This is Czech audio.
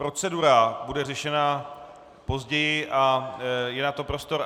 Procedura bude řešena později a je na to prostor.